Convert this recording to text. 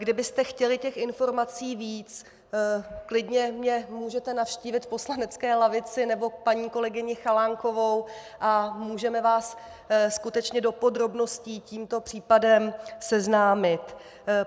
Kdybyste chtěli těch informací víc, klidně mě můžete navštívit v poslanecké lavici, nebo paní kolegyni Chalánkovou, a můžeme vás skutečně do podrobností s tímto případem seznámit.